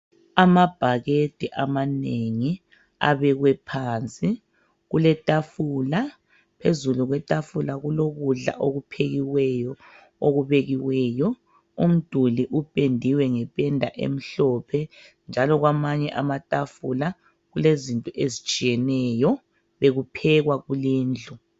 Amabhakede amanengi abekwe phansi. Kuletafula, phezulu kwetafula kulokudla okuphekiweyo okubekiweyo. Umduli upendiwe ngependa emhlophe njalo kwamanye amatafula kulezinto ezitshiyeneyo bekuphekwa kulindlu.